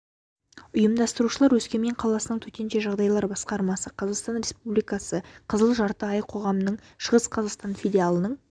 ұйымдастырушылар өскемен қаласының төтенше жағдайлар басқармасы қазақстан республикасы қызыл жарты ай қоғамының шығыс қазақстан филиалының